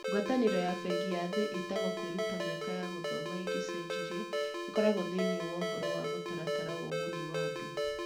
Ngwatanĩro ya Bengi ya Thĩ ĩtagwo Kwĩruta Mĩaka ya Gũthoma Ĩngĩcenjirie ĩkoragwo thĩinĩ wa ũhoro wa Mũtaratara wa Ũguni wa Andũ.